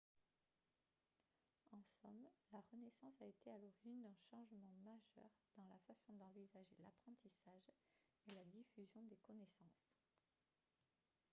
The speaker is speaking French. en somme la renaissance a été à l'origine d'un changement majeur dans la façon d'envisager l'apprentissage et la diffusion des connaissances